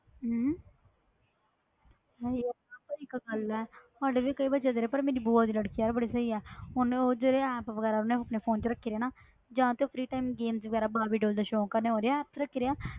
ਹਮ ਹਾਂ ਯਾਰ ਪਰ ਇੱਕ ਗੱਲ ਸਾਡੇ ਵੀ ਕਈ ਵਾਰ ਬੱਚੇ ਨੇ ਪਰ ਮੇਰੀ ਭੂਆ ਦੀ ਲੜਕੀ ਯਾਰ ਬੜੀ ਸਹੀ ਆ ਉਹਨੇੇ ਉਹ ਜਿਹੜੇ app ਵਗ਼ੈਰਾ ਉਹਨੇ ਆਪਣੇ phone 'ਚ ਰੱਖੇ ਆ ਨਾ ਜਾਂ ਤੇ ਉਹ free time games ਵਗ਼ੈਰਾ ਬਾਰਬੀ doll ਦਾ ਸ਼ੌਂਕ ਆ, ਉਹਨੇ ਉਹਦੇ apps ਰੱਖੇ ਦੇ ਆ,